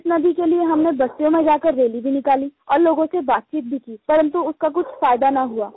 इस नदी के लिये हमने बस्तियों में जा करके हमने रैली भी निकाली और लोगों से बातचीत भी की परन्तु उसका कुछ फ़ायदा न हुआ